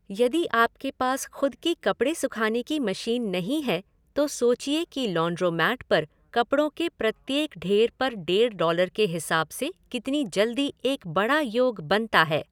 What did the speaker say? यदि आपके पास खुद की कपड़े सूखाने की मशीन नहीं है तो सोचिए कि लॉन्ड्रोमैट पर कपड़ों के प्रत्येक ढेर पर डेढ़ डॉलर के हिसाब से कितनी जल्दी एक बड़ा योग बनता है।